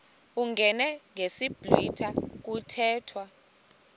uyingene ngesiblwitha kuthethwa